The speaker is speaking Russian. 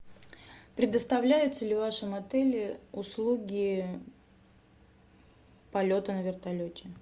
предоставляются ли в вашем отеле услуги полета на вертолете